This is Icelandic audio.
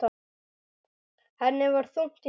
Henni var þungt í skapi.